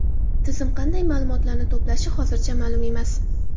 Tizim qanday ma’lumotlarni to‘plashi hozircha ma’lum emas.